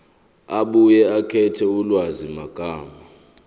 abuye akhethe ulwazimagama